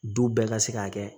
Du bɛɛ ka se k'a kɛ